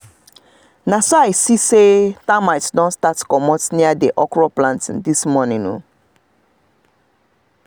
this pepper plant need make them water am na wetin i observe as i dey waka this morning by 6:30